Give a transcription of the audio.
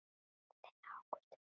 Þinn Ágúst Viðar.